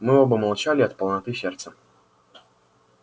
мы оба молчали от полноты сердца